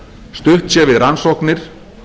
stutt sé við rannsóknir